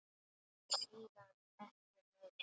Og síðan ekki meir?